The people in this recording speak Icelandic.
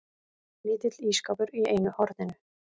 Lítill ísskápur í einu horninu.